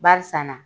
Barisa na